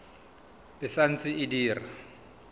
e sa ntse e dira